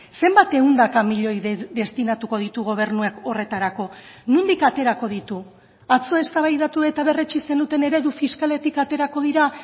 zenbat ehundaka miloi destinatuko ditu gobernuek horretarako nondik aterako ditu atzo eztabaidatu eta berretsi zenuten eredu fiskaletik aterako dira